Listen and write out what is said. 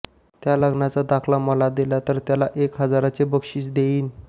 त्या लग्नाचा दाखला मला दिला तर त्याला एक हजाराचे बक्षिस देईन